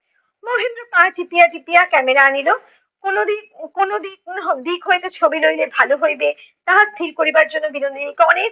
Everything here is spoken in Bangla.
মহেন্দ্র পা টিপিয়া টিপিয়া camera আনিলো। কোনো দিক কোনো দিক দিক হইতে ছবি লইলে ভালো হইবে তাহা স্থির করিবার জন্য বিনোদিনীকে অনেক